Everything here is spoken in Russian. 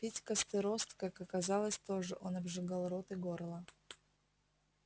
пить костерост как оказалось тоже он обжигал рот и горло